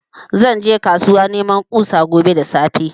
Zan je kasuwa neman kusa gobe da safe